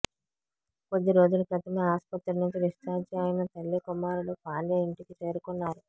కొద్ది రోజుల క్రితమే ఆస్పత్రి నుంచి డిశ్చార్జి అయిన తల్లీ కుమారుడు పాండ్య ఇంటికి చేరుకున్నారు